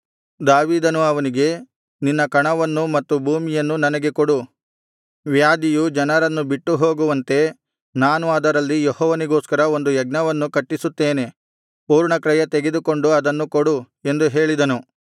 ದಾವೀದನು ಅವನಿಗೆ ನಿನ್ನ ಕಣವನ್ನೂ ಮತ್ತು ಭೂಮಿಯನ್ನು ನನಗೆ ಕೊಡು ವ್ಯಾಧಿಯು ಜನರನ್ನು ಬಿಟ್ಟು ಹೋಗುವಂತೆ ನಾನು ಅದರಲ್ಲಿ ಯೆಹೋವನಿಗೋಸ್ಕರ ಒಂದು ಯಜ್ಞವೇದಿಯನ್ನು ಕಟ್ಟಿಸುತ್ತೇನೆ ಪೂರ್ಣಕ್ರಯ ತೆಗೆದುಕೊಂಡು ಅದನ್ನು ಕೊಡು ಎಂದು ಹೇಳಿದನು